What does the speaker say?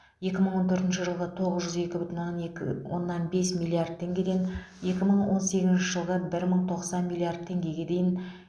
екі мың он төртінші жылғы тоғыз жүз екі бүтін оннан екі оннан бес миллиард теңгеден екі мың он сегізінші жылғы бір мың тоқсан миллиард теңгеге дейін